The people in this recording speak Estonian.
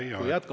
Teie aeg!